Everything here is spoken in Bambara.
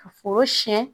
Ka foro siyɛn